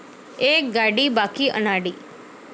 एक गाडी बाकी अनाडी